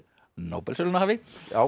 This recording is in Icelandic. Nóbelsverðlaunahafi